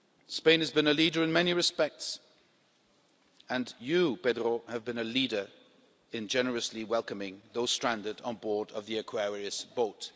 Spain has been a leader in many respects, and you, Pedro, have been a leader in generously welcoming those stranded on board the Aquarius boat.